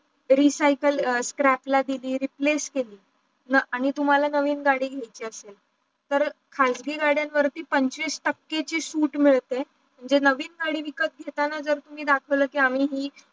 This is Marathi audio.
recycle scrap ला दिली replace केली माग आणी तुम्हाला नाविन् गाडी घेयला असेल, तर काजगी गाड्यांवरती पंचवीस टाक्या ची शूट मिडते. जे नवीन गाडी विकताना घेताना तुम्ही दाखवील की आम्ही ही